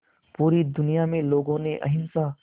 पूरी दुनिया में लोगों ने अहिंसा